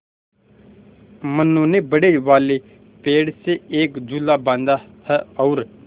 मनु ने बड़े वाले पेड़ से एक झूला बाँधा है और